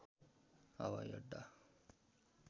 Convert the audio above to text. हवाई अड्डा